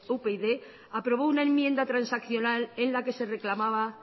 upyd aprobó una enmienda transaccional en la que se reclamaba